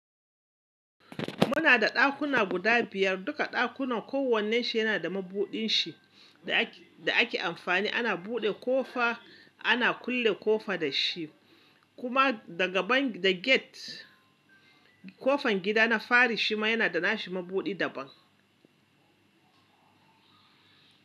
Muna da ɗakuna guda biyar. Duka ɗakunan kowannenshi yana da mabudinshi da ake amfani ana buɗe ƙofa ana kulle ƙofa da shi. Kuma daga ban da gate, ƙofan gida na fari shima yana da nashi mabuɗi daban.